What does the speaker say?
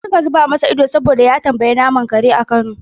Duk suka zuba masa ido saboda ya tambayi naman kare a kano.